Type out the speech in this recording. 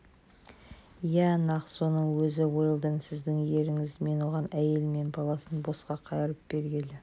иә нақ соның өзі уэлдон сіздің еріңіз мен оған әйелі мен баласын босқа қайырып бергелі